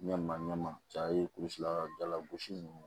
Ɲan'a ɲɛma cɛ ye kulusi la jala gosi ninnu